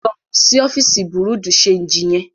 Lọ sí ọfíìsì bùrúdì ṣeègì yẹn.